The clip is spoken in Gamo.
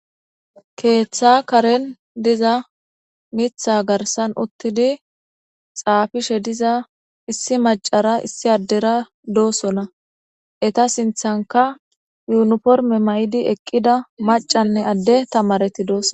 Keeththa karen diza miththa garsan uttidi xaafishe diza issi maccanne issi addey de'oosona. eta sintha yuniform maida maccane ade nayiti dosona